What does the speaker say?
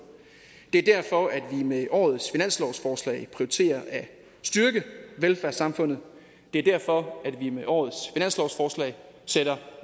det er derfor at vi med årets finanslovsforslag prioriterer at styrke velfærdssamfundet det er derfor at vi med årets finanslovsforslag sætter